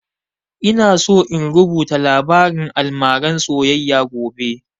Ina so in rubuta labarin almaran soyayya gobe